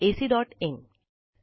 cdeepiitbacइन